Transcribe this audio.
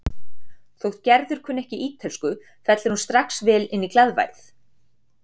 Þótt Gerður kunni ekki ítölsku fellur hún strax vel inn í glaðværð